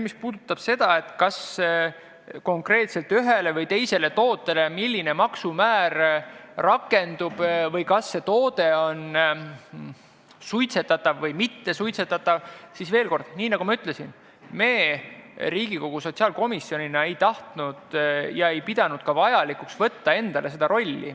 Mis puudutab seda, milline maksumäär konkreetselt ühele või teisele tootele rakendub või kas toode on suitsetatav või mittesuitsetatav, siis, nii nagu ma ütlesin, veel kord: me Riigikogu sotsiaalkomisjonina ei tahtnud ega pidanud ka vajalikuks võtta endale seda rolli.